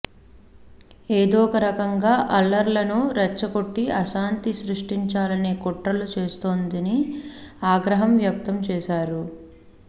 ఏదోరకంగా అల్లర్లను రెచ్చకొట్టి అశాంతి సృష్టించాలనే కుట్రలు చేస్తోందని ఆగ్రహం వ్యక్తంచేశారు